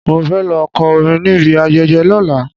Mo fẹ́ lọ kọ́ orin níbi ayẹyẹ lọ́la.